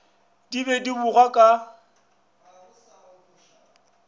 di be di bogwa ka